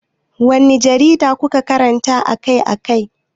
Wanne jarida kuke karantawa akai-akai?